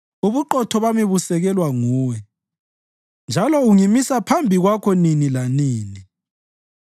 Ubuqotho bami busekelwa nguwe njalo ungimisa phambi kwakho nini lanini.